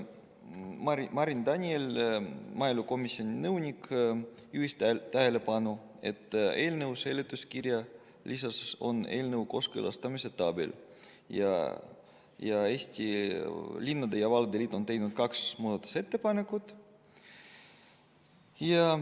Marin Daniel, maaelukomisjoni nõunik, juhtis tähelepanu sellele, et eelnõu seletuskirja lisas on eelnõu kooskõlastamise tabel ning seal on ka Eesti Linnade ja Valdade Liidu tehtud kaks muudatusettepanekut.